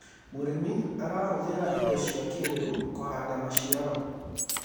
mũrĩmi arahuthira indo cia kĩiriu kuhanda maciaro